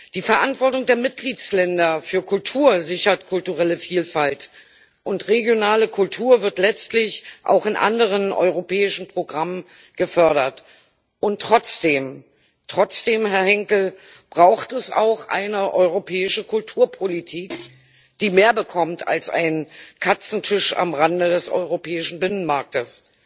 Die Verantwortung der Mitgliedstaaten für Kultur sichert kulturelle Vielfalt, und regionale Kultur wird letztlich auch in anderen europäischen Programmen gefördert. Und trotzdem Herr Henkel braucht es auch eine europäische Kulturpolitik, die mehr bekommt als einen Katzentisch am Rande des europäischen Binnenmarktes.